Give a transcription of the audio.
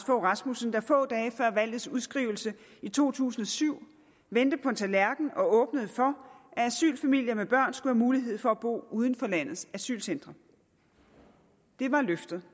fogh rasmussen der få dage før valgets udskrivelse i to tusind og syv vendte på en tallerken og åbnede for at asylfamilier med børn skulle have mulighed for at bo uden for landets asylcentre det var løftet